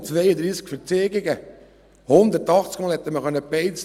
1552 Verzeigungen und 280-mal hätte man eine Beiz schliessen können.